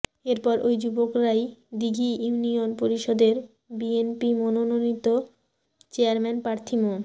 এরপর ওই যুবকরাই দিঘি ইউনিয়ন পরিষদের বিএনপি মনোননীত চেয়ারম্যান প্রার্থী মো